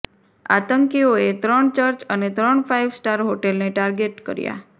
આતંકીઓએ ત્રણ ચર્ચ અને ત્રણ ફાઈવ સ્ટાર હોટેલને ટાર્ગેટ કર્યા